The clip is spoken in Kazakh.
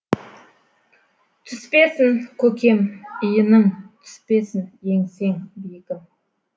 түспесін көкем иінің түспесін еңсең биігім